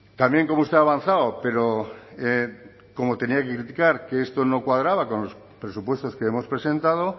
también como usted ha avanzado pero cómo tenía que criticar que esto no cuadraba con los presupuestos que hemos presentado